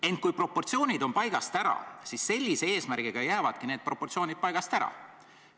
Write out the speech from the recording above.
Ent kui proportsioonid on paigast ära, siis sellise eesmärgiga jäävadki need proportsioonid paigast ära.